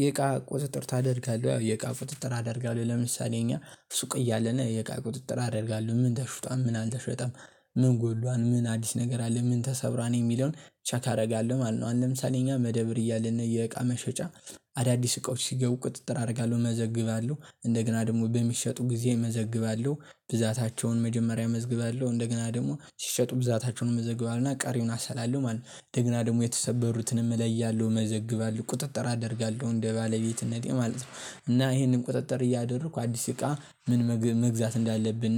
የእቃ ቁጥጥር ታደርጋለህ ያው የእቃ ቁጥጥር አደርጋለሁ ለምሳሌ እኛ ሱቅ እያለን የእቃ ቁጥጥር አደርጋለሁ ምን ተሽጧል ምን አልተሸጠም ምን ጎሏል ምን አዲስ ነገር አለ ምን ተሰብሯል የሚለውን ቼክ አደርጋለሁ ማለት ነው። ለምሳሌ እኛ መደብር እያለን የእቃ መሸጫ አዳዲስ እቃዎች ሲገቡ ቁጥጥር አደርጋለሁ እመዘግባለሁ እንደገና ደግሞ በሚሸጡ ጊዜ እመዘግባለሁ ብዛታቸውን መጀመሪያ መዘግባለሁ እንደገና ደግሞ ሲሸጡ ብዛታቸውን መዘገባለው እና ቀሪውን አሰላለሁ ማለት ነው። ደግና ደግሞ የተሰበሩትንም እለያለሁ መዘግባለው ቁጥጥር አደርጋለሁ እንደ ባለቤትነቴ ማለት ነው። እና ይሄንን ቁጥጥር እያደረኩ አዲስ እቃ ምን መግዛት እንዳለብን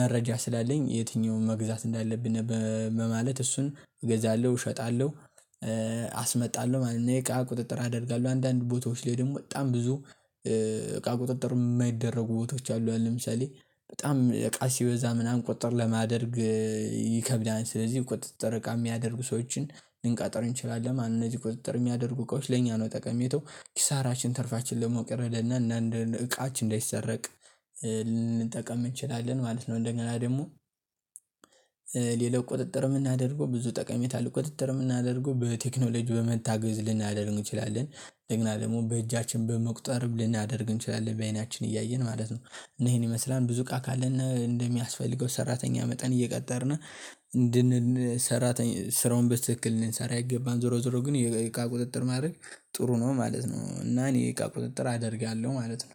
መረጃ ስላለኝ የትኛውን መግዛት እንዳለብን ማለት እርሱን እገዛለሁ እሸጣለሁ አስመጣለሁ ማለት ነው። የእቃ ቁጥጥር አደርጋለሁ አንዳንድ ቦታዎች ላይ ደግሞ በጣም ብዙ እቃ ቁጥጥር የማይደረጉ ቦታዎች አሉ። አሁን ለምሳሌ በጣም እቃ ሲበዛ ምናምን ቁጥጥር ለማደርግ ይከብዳል። ስለዚህ ቁጥጥር እቃ የሚያደርጉ ሰዎችን ልንቀጥር እንችላለን ማለት እነዚህ ቁጥጥር የሚያደርጉ እቃዎች ለእኛ ነው። ጠቀሜታው ኪሳራችን ትርፋችን ለመቅረድ እና እና እቃችን እንዳይሰረቅ እንችላለን ማለት ነው። እንደገና ደግሞ ቁጥጥር የምናደርገው ብዙ ጠቀሜታ ለቁጥጥር የምናደርገው በቴክኖሎጂ በመታገዝ ልናደርግ እንችላለን እንደገና ደግሞ በእጃችን በመቁጠር ልናደርግ እንችላለን በአይናችን እያየን ማለት ነው። እና ይሄን ይመስላል ብዙ እቃ ካለን እንደሚያስፈልገው ሰራተኛ መጠን እየቀጠርን እንድን ስራውን በስትክክል ልንሰራ ይገባል። ዞሮ ዞሮ ግን የእቃ ቁጥጥር ማድረግ ጥሩ ነው ማለት ነው። እና እኔ የእቃ ቁጥጥር አደርጋለሁ ማለት ነው።